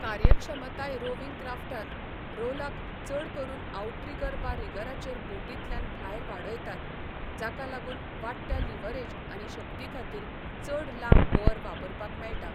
कार्यक्षमताय rowing क्राफ्टांत, rowlock चड करून आऊट्रिगर वा रिगराचेर बोटींतल्यान भायर वाडयतात, जाका लागून वाडट्या लीव्हरेज आनी शक्तीखातीर चड लांब ओअर वापरपाक मेळटा.